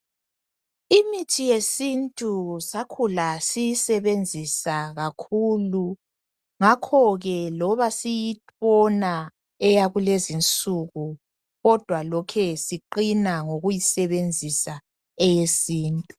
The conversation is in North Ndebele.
Imithi yesintu sakhula siyisebenzisa kakhulu ngakho ke loba siyifuna eyakulezi nsuku kodwa lokhe siqina ngokuyisebenzisa eyesintu.